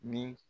Ni